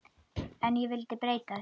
En ég vildi breyta til.